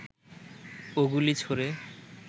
ও গুলি ছোঁড়ে